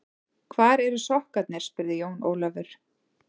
Hvar eru sokkarnir spurði Jón Ólafur.